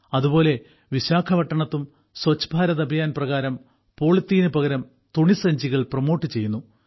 അതുപോലെ വിശാഖപട്ടണത്തും സ്വച്ഛ് ഭാരത് അഭിയാൻ പ്രകാരം പോളിത്തീന് പകരം തുണി സഞ്ചികൾ പ്രമോട്ട് ചെയ്യുന്നു